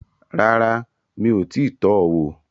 Rárá, mi ò tíì tọ wò